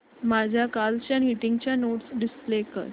माझ्या कालच्या मीटिंगच्या नोट्स डिस्प्ले कर